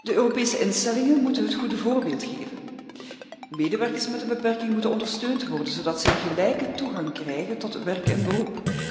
De Europese instellingen moeten het goede voorbeeld geven. Medewerkers met een beperking moeten ondersteund worden, zodat zij gelijke toegang krijgen tot werk en beroep.